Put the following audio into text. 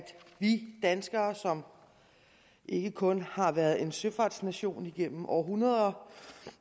vi danskere som ikke kun har været en søfartsnation igennem århundreder